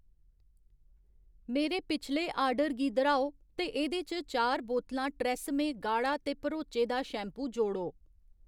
मेरे पिछले आर्डर गी दर्‌हाओ ते एह्‌दे च चार बोतलां ट्रेसेम्मे गाढा ते भरोचे दा शैम्पू जोड़ो